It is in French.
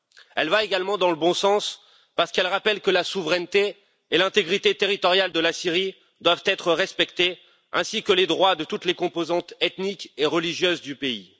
Elle va également dans le bon sens parce qu'elle rappelle que la souveraineté et l'intégrité territoriale de la Syrie doivent être respectées, au même titre que les droits de toutes les composantes ethniques et religieuses du pays.